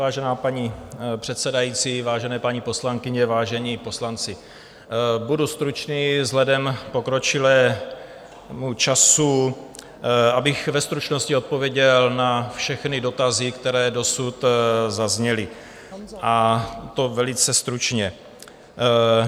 Vážená paní předsedající, vážené paní poslankyně, vážení poslanci, budu stručný vzhledem k pokročilému času, abych ve stručnosti odpověděl na všechny dotazy, které dosud zazněly, a to velice stručně.